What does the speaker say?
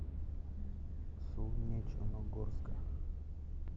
солнечногорска